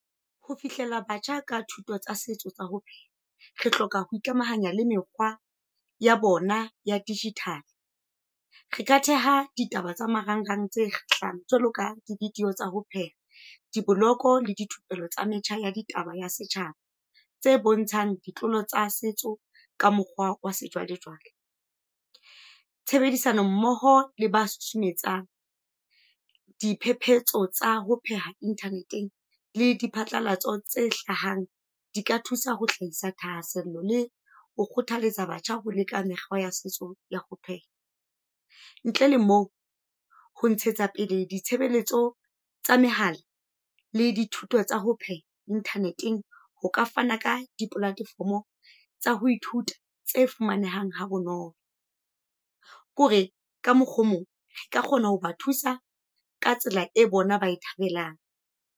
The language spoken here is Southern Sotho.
Ho fihlela batjha ka thuto tsa setso tsa ho re hloka ho ikamahanya le mekgwa ya bona ya digital. Re ka theha ditaba tsa marangrang tse hla jwalo ka di-video tsa ho pheha, diboloko le dithupelo tsa metjha ya ditaba ya setjhaba. Tse bontshang ditlolo tsa setso ka mokgwa wa sejwalejwale. Tshebedisano mmoho le ba diphephetso tsa ho pheha Internet-eng le di phatlalatso tse hlahang, di ka thusa ho hlahisa thahasello le ho kgothaletsa batjha ho leka mekgwa ya setso ya ho pheha. Ntle le moo ho ntshetsa pele ditshebeletso tsa mehala le dithuto tsa ho pheha Internet-eng ho ka fana ka di-platform tsa ho ithuta tse fumanehang ha bonolo. Ke hore ka mokgwa o mong e ka kgona ho ba thusa ka tsela e bona ba e thabelang.